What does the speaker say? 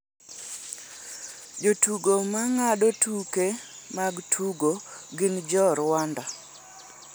Jotugo ma ng'ado tuke mag tugo gin jo Rwanda.